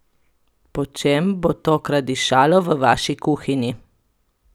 Po čem bo tokrat dišalo v vaši kuhinji?